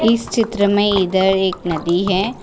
इस चित्र में इधर एक नदी है।